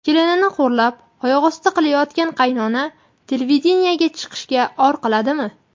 Kelinini xo‘rlab oyoqosti qilayotgan qaynona televideniyega chiqishga or qiladimi?